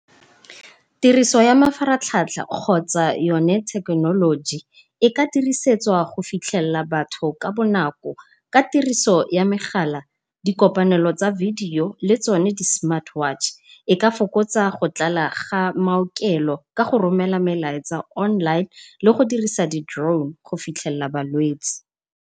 Tiriso ya mafaratlhatlha kgotsa yone thekenoloji e ka dirisetswa go fitlhella batho ka bonako, ka tiriso ya megala, di kopanelo tsa video le tsone di smart watch. E ka fokotsa go tlala ga maokelo ka go romela melaetsa online le go dirisa tsone di drone go fitlhella balwetse.